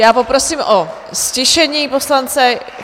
Já poprosím o ztišení poslance.